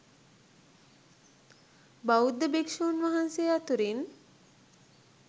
බෞද්ධ භික්ෂුන් වහන්සේ අතුරින්